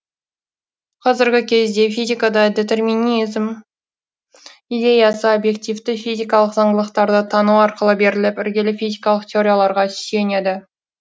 қазіргі кездегі физикада детерминизм идеясы обьективті физикалық заңдылықтарды тану арқылы беріліп іргелі физикалық теорияларға сүйенеді